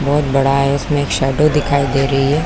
और बहोत बडा है इसमें एक शैडो दिखाई दे रहै हैं।